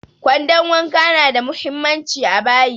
Kwandon wanka na da muhimmanci a bayi